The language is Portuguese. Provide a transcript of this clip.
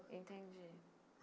Entendi.